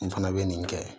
N fana bɛ nin kɛ